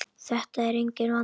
Þetta er enginn vandi!